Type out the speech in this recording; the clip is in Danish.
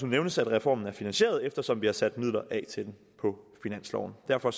nævnes at reformen er finansieret eftersom vi har sat midler af til den på finansloven derfor